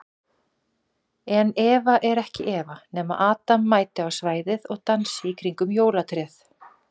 En Eva er ekki Eva nema adam mæti á svæðið og dansi í kringum jólatréð.